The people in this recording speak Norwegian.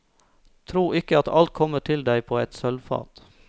Tro ikke, at alt kommer til deg på et sølvfat.